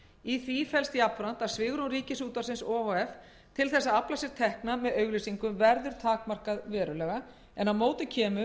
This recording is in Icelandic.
í því felst jafnframt að svigrúm ríkisútvarpsins o h f til þess að afla sér tekna með auglýsingum verður takmarkað verulega en á móti kemur